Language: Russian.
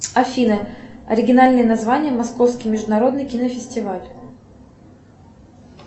афина оригинальные названия московский международный кинофестиваль